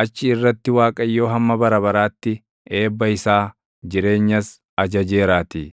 Achi irratti Waaqayyo hamma bara baraatti eebba isaa, jireenyas ajajeeraatii.